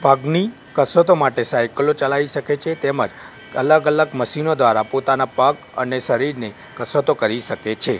પગની કસરતો માટે સાઈકલો ચલાઇ સકે છે તેમજ અલગ અલગ મસીનો દ્વારા પોતાના પગ અને શરીરની કસરતો કરી સકે છે.